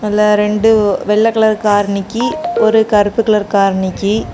அதுல ரெண்டு வெள்ள கலர் கார் நிக்கி ஒரு கருப்பு கலர் கார் நிக்கி.